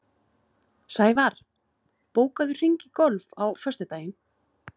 Sævarr, bókaðu hring í golf á föstudaginn.